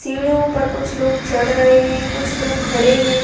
सीढ़ियों पर कुछ लोग चढ़ रहे हैं कुछ लोग खड़े हैं।